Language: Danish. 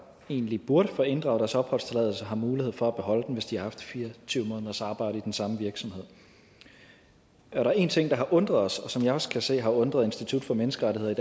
egentlig burde få inddraget deres opholdstilladelse har mulighed for at beholde den hvis de har haft fire og tyve måneders arbejde i den samme virksomhed der er en ting der har undret os og som jeg også kan se i har undret institut for menneskerettigheder